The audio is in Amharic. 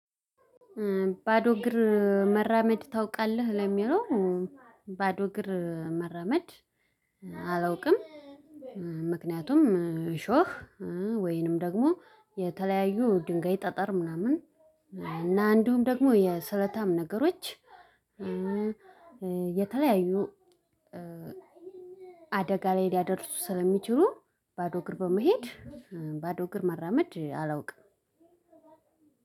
ባዶ እግር መራመድ ታውቃለህ? ለሚለው ባዶ እግር መራመድ አላውቅም ምክንያቱም እሾህ ወይንም ደግሞ የተለያዩ ድንጋይ ጠጠር ምናምን እና አንዱም ደግሞ የስለታም ነገሮች የተለያዩ አደጋ ላይ ሊያደርሱ ስለሚችሉ ባዶ እግር በመሄድ ባዶ እግር መራመድ አላውቅም